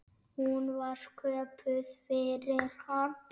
Hún var sköpuð fyrir hann.